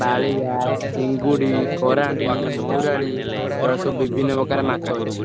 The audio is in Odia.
ବାଳିଆ, ଚିଙ୍ଗୁଡି, କରାଣ୍ଡି, ମଉରାଡି ଏଇଗୁଡା ସବୁ ବିଭିନ୍ନ ପ୍ରକାର ମାଛ ଅଛି।